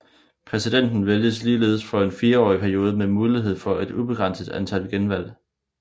Præsidenten vælges ligeledes for en fireårig periode med mulighed for et ubegrænset antal genvalg